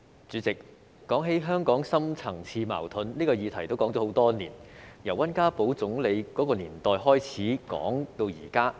主席，提到香港的深層次矛盾，這個議題已討論很多年，由溫家寶總理的年代開始討論至今。